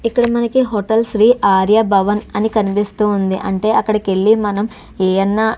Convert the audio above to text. ఇక్కడ మనకి హోటల్ శ్రీ ఆర్యభవన్ అని కనిపిస్తూ ఉంది అంటే అక్కడికి వెళ్లి మనం ఏ అన్న --